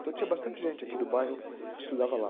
Então tinha bastante gente aqui do bairro que estudava lá.